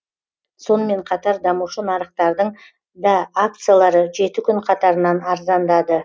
сонымен қатар дамушы нарықтардың да акциялары жеті күн қатарынан арзандады